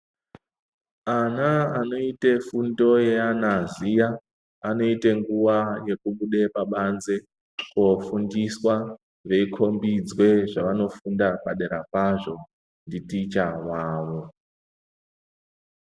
Ana anoite fundo yeanaziya anoite nguwa yekubude pabanze kofundiswa veikhombidzwa zvavanofunda padera pazvo nditicha wavo.